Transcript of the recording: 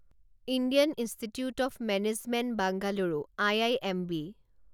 Indian Institute of Management Bengaluru IIMB